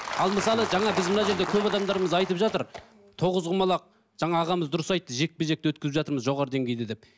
ал мысалы жаңа біз мына жерде көп адамдарымыз айтып жатыр тоғызқұмалақ жаңа ағамыз дұрыс айтты жекпе жекті өткізіп жатырмыз жоғары деңгейде деп